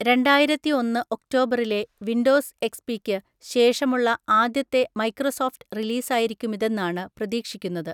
രണ്ടായിരത്തിഒന്ന്‌ ഒക്ടോബറിലെ വിൻഡോസ് എക്സ്പിക്ക് ശേഷമുള്ള ആദ്യത്തെ മൈക്രോസോഫ്റ്റ് റിലീസായിരിക്കുമിതെന്നാണ് പ്രതീക്ഷിക്കുന്നത്.